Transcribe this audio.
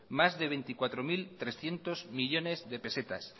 más de veinticuatro mil trescientos millónes de pesetas